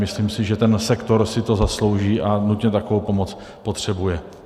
Myslím si, že ten sektor si to zaslouží a nutně takovou pomoc potřebuje.